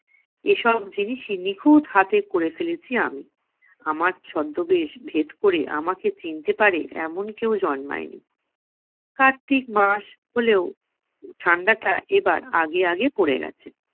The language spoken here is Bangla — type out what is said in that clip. এসব জিনিসই নিখুঁত হাতে করে ফেলেছি আমি। আমার ছদ্মবেশ ভেদ করে আমাকে চিনতে পারে, এমন কেউ জন্মায় নি। কার্তিক মাস হলেও ঠান্ডাটা এবার আগে আগে পরে গেছে।